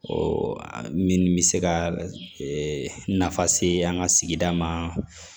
min bɛ se ka nafa se an ka sigida ma